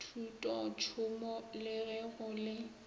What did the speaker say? thutotšhomo le ge go le